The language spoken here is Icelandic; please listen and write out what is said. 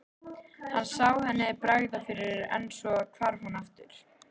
Hann sá henni bregða fyrir en svo hvarf hún aftur.